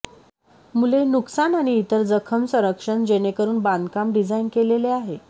मुले नुकसान आणि इतर जखम संरक्षण जेणेकरून बांधकाम डिझाइन केलेले आहे